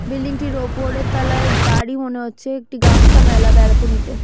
Building -টির ওপরের তলায় বাড়ি মনে হচ্ছে। একটি গামছা মেলা ব্যালকনি -তে।